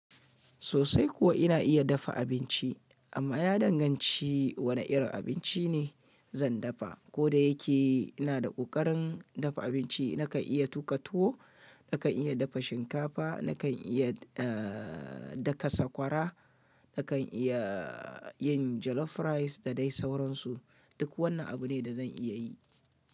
Sosai kuwa ina iya dafa abinci amma ya danganci wane irin abinci ne zan dafa. Ko da yake ina da ƙoƙarin dafa abinci, nakan iya tuƙa tuwo, nakan iya dafa shinkafa, nakan iya daka sakwara, nakan iya yin jollof rice da dai sauransu. Duk wannan abu ne da zan iya yi.